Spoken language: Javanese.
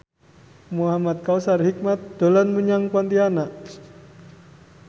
Muhamad Kautsar Hikmat dolan menyang Pontianak